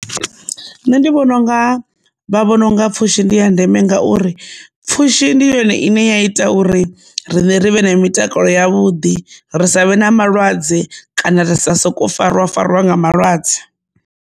Nṋe ndi vhona unga vha vhona unga pfhushi ndi ya ndeme ngauri pfhushi ndi yone ine ya ita uri riṋe rivhe na mitakalo yavhuḓi ri savhe na malwadze kana ra sa soko farwa fariwa nga malwadze.